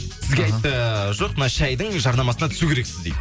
сізге айтты жоқ мына шәйдің жарнамасына түсу керексіз дейді